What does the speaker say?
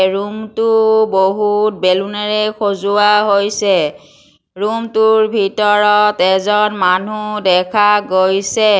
Room টো বহুত বেলুনেৰে সজোৱা হৈছে। ৰুম টোৰ ভিতৰত এজন মানুহ দেখা গৈছে।